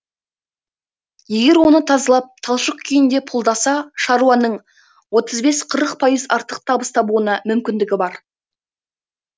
егер оны тазалап талшық күйінде пұлдаса шаруаның отыз бес қырық пайыз артық табыс табуына мүмкіндігі бар